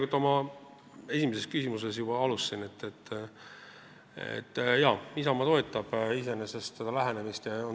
Nagu ma oma esimeses küsimuses juba ütlesin, Isamaa toetab iseenesest seda lähenemist.